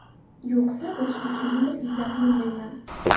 Yo‘qsa, boshqa kimnidir izlab yurmayman.